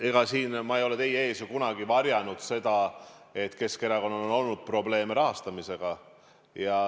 Ega ma ei ole ju siin teie ees kunagi varjanud seda, et Keskerakonnal on olnud probleeme rahastamisega.